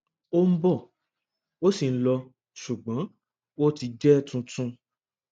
ó ń bò ó sì ń lọ ṣùgbọn ó ti jẹ tuntun